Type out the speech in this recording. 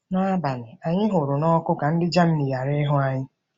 N'abalị, anyị hụrụ n'ọkụ ka ndị Germany ghara ịhụ ya.